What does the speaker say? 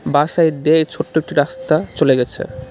বাঁ সাইড দিয়ে ছোট্ট একটি রাস্তা চলে গেছে.